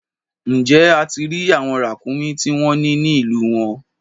Ǹjẹ́ ẹ ti rí àwọn ràkúnmí tí wọ́n ní ní ìlú wọn?